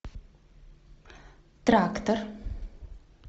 трактор